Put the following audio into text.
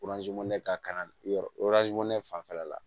ka kalan yɔrɔ fanfɛla la